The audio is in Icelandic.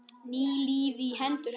Ný lífi í hendur hennar.